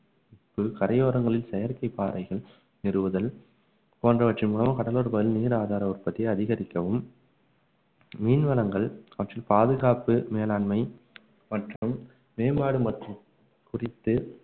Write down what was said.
கரையோரங்களில் செயற்கைப் பாறைகள் நிறுவுதல் போன்றவற்றின் மூலம் கடலோர பகுதியில் நீர் ஆதார உற்பத்தியை அதிகரிக்கவும் மீன் வளங்கள் அவற்றில் பாதுகாப்பு மேலாண்மை மற்றும் மேம்பாடு மற்றும் குறித்து